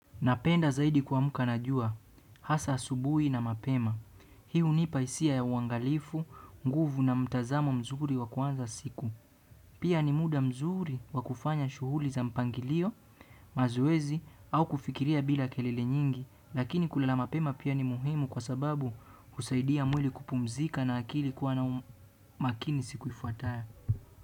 Napenda zaidi kuamka na jua, hasa asubuhi na mapema. Hii hunipa hisia ya uangalifu, nguvu na mtazamo mzuri wa kuanza siku. Pia ni muda mzuri wa kufanya shughuli za mpangilio, mazoezi au kufikiria bila kelele nyingi, lakini kulala mapema pia ni muhimu kwa sababu husaidia mwili kupumzika na akili kuwa makini siku ifuatayo.